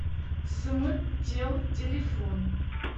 см тел телефон